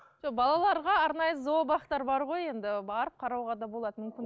жоқ балаларға арнайы зообақтар бар ғой енді барып қарауға да болады мүмкін